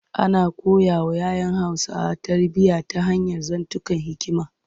Ana koyawa ‘ya ‘yan Hausawa tarbiyya ta hanyar zantukan hikima.